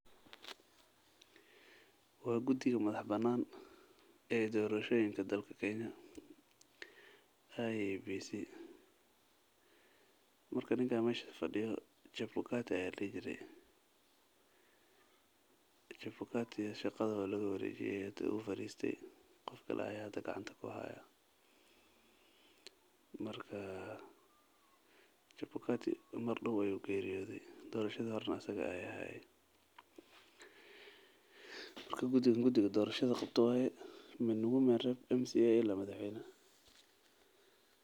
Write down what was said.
Wa gudiga madax bana ee dorashoyenka ee dalka kenya, IEBc, marka ninka meshaa fadiyo chabukate aya layiree, chabukate shagadha walagawarejiyee hadha wufadiste, gofkale aya xada gacanta kuxayaa, marka chabukate mardow ayu geriyodhe, dorashadhi horenaa asaga aya xayee, marka gudhigan gudhiga dorashadha gabto wayee min womenrep mca ila madaxweynaxa.